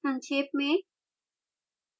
संक्षेप में